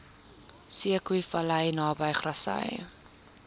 zeekoevlei naby grassy